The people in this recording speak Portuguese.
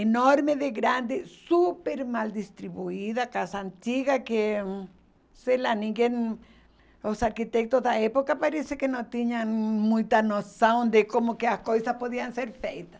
Enorme de grande, super mal distribuída, casa antiga que, sei lá, ninguém, os arquitetos da época parece que não tinham muita noção de como que as coisas podiam ser feitas.